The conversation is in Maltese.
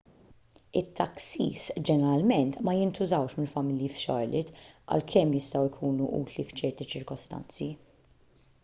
it-taksis ġeneralment ma jintużawx mill-familji f'charlotte għalkemm jistgħu jkunu utli f'ċerti ċirkostanzi